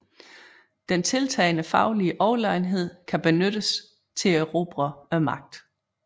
Den tiltagende faglige Overlegenhed kan benyttes til at erobre Magten